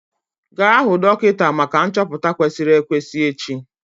Gaa hụ dọkịta maka nchọpụta kwesịrị ekwesị echi!